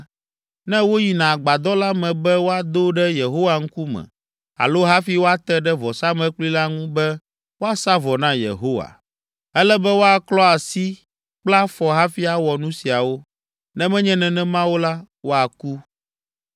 ne woyina agbadɔ la me be woado ɖe Yehowa ŋkume alo hafi woate ɖe vɔsamlekpui la ŋu be woasa vɔ na Yehowa. Ele be woaklɔ asi kple afɔ hafi awɔ nu siawo, ne menye nenema o la, woaku.